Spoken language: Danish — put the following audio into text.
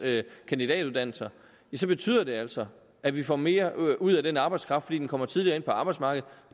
kandidatuddannelser så betyder det altså at vi får mere ud af den arbejdskraft fordi den kommer tidligere ind på arbejdsmarkedet